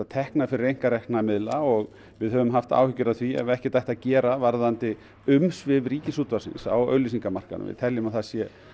tekna fyrir einkarekna miðla og höfum haft áhyggjur af því að ekkert á að gera varðandi umsvif Ríkisútvarpsins á auglýsingamarkaði við teljum að það sé